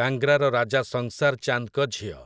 କାଙ୍ଗ୍ରାର ରାଜା ସଂସାର୍ ଚାନ୍ଦ୍‌ଙ୍କ ଝିଅ ।